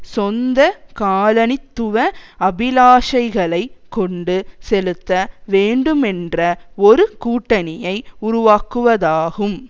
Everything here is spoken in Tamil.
சொந்த காலனித்துவ அபிலாஷைகளை கொண்டு செலுத்த வேண்டுமென்ற ஒரு கூட்டணியை உருவாக்குவதாகும்